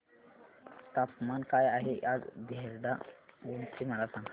तापमान काय आहे आज देहराडून चे मला सांगा